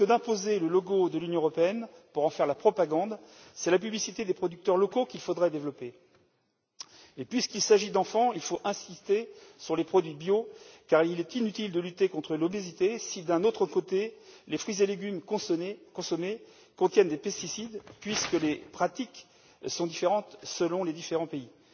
Plutôt que d'imposer le logo de l'Union européenne, pour en faire la propagande, c'est la publicité des producteurs locaux qu'il faudrait développer. Enfin, puisque c'est d'enfants qu'il s'agit, il faut insister sur les produits bio, car il est inutile de lutter contre l'obésité si, par ailleurs, les fruits et légumes consommés contiennent des pesticides, puisque les pratiques sont différentes en fonction des pays.